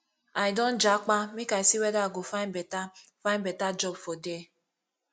i don japa make i see weda i go find beta find beta job for there